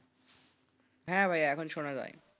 হ্যাঁ ভাই এখন শোনা যাই.